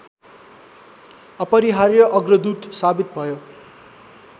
अपरिहार्य अग्रदूत साबित भयो